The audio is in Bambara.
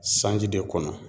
Sanji de kɔnɔ.